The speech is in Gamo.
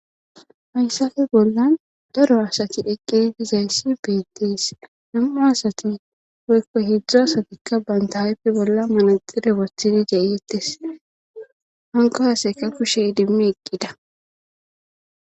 hayssafe bollan daro asati eqqidivdizayssi beetees nam'u asati woykko heedzdz asatikka baynta aype bolla manaxire wothide de'eettes hanko hasayka kushey idimmi eqqida